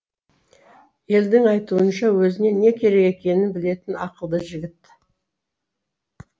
елдің айтуынша өзіне не керек екенін білетін ақылды жігіт